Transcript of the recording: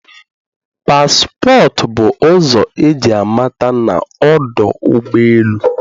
Passport bụ ụzọ eji amata na ọdụ ụgbọ elu